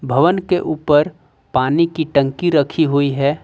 भवन के ऊपर पानी की टंकी रखी हुई है।